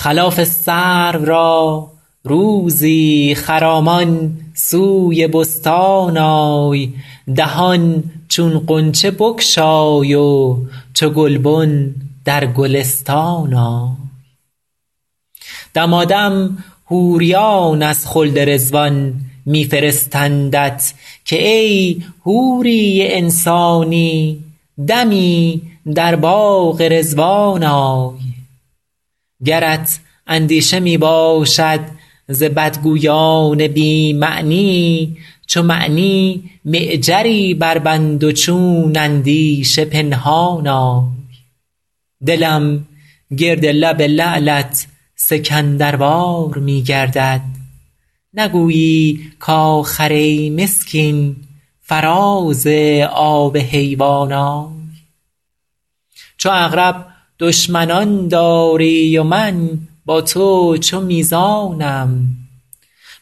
خلاف سرو را روزی خرامان سوی بستان آی دهان چون غنچه بگشای و چو گلبن در گلستان آی دمادم حوریان از خلد رضوان می فرستندت که ای حوری انسانی دمی در باغ رضوان آی گرت اندیشه می باشد ز بدگویان بی معنی چو معنی معجری بربند و چون اندیشه پنهان آی دلم گرد لب لعلت سکندروار می گردد نگویی کآخر ای مسکین فراز آب حیوان آی چو عقرب دشمنان داری و من با تو چو میزانم